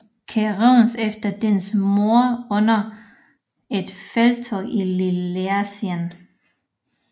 Keraunos efter dennes mord under et felttog i Lilleasien